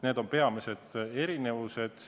Need on peamised erinevused.